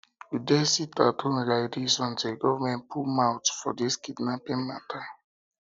we dey sitathome lai dis until government put mout for dis kidnapping mata